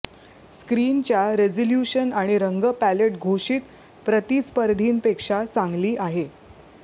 स्क्रीनच्या रिजोल्यूशन आणि रंग पॅलेट घोषित प्रतिस्पर्धींपेक्षा चांगली आहे